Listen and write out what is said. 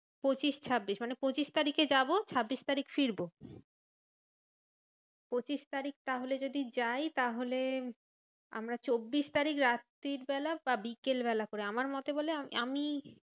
পঁচিশ ছাব্বিশ মানে পঁচিশ তারিখে যাবো ছাব্বিশ তারিখ ফিরবো। পঁচিশ তারিখ তাহলে যদি যাই তাহলে আমরা চব্বিশ তারিখ রাত্রির বেলা বা বিকেল বেলা করে। আমার মতে বলে আম~ আমি